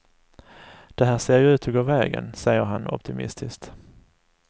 Det här ser ju ut att gå vägen, säger han optimistiskt.